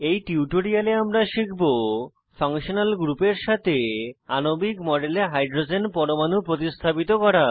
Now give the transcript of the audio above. এই টিউটোরিয়ালে আমরা শিখব ফাংশনাল গ্রুপের সাথে আণবিক মডেলে হাইড্রোজেন পরমাণু প্রতিস্থাপিত করা